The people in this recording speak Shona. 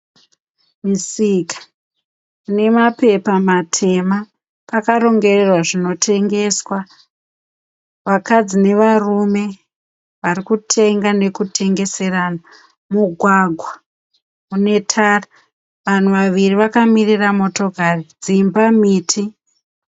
Misika inemapepa matema. Pakarongererwa zvinotengeswa. Vakadzi nevarume varikutenga nekutengeserana. Mugwagwa unetara. Vanhu vaviri vakamirira motokari dzimba, miti.